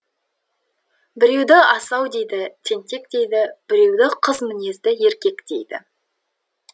біреуді асау дейді тентек дейді біреуді қыз мінезді еркек дейді